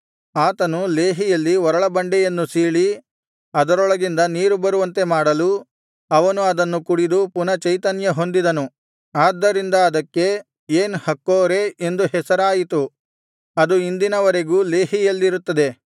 ಆತನು ಲೇಹಿಯಲ್ಲಿ ಒರಳಬಂಡೆಯನ್ನು ಸೀಳಿ ಅದರೊಳಗಿಂದ ನೀರು ಬರುವಂತೆ ಮಾಡಲು ಅವನು ಅದನ್ನು ಕುಡಿದು ಪುನಃ ಚೈತನ್ಯಹೊಂದಿದನು ಆದ್ದರಿಂದ ಅದಕ್ಕೆ ಏನ್ ಹಕ್ಕೋರೇ ಎಂದು ಹೆಸರಾಯಿತು ಅದು ಇಂದಿನ ವರೆಗೂ ಲೆಹೀಯಲ್ಲಿರುತ್ತದೆ